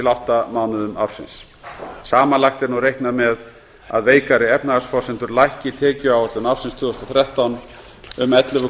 átta mánuðum ársins samanlagt er nú reiknað með að veikari efnahagsforsendur lækki tekjuáætlun ársins tvö þúsund og þrettán um ellefu